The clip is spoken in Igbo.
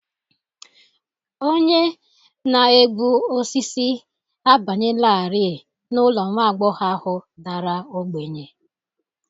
Onye na-egbu osisi abanyelarị n'ụlọ nwa agbọghọ ahụ dara ogbenye